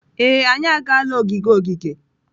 Ee, anyị agaala ogige ogige.